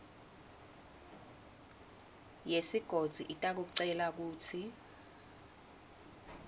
yesigodzi itakucela kutsi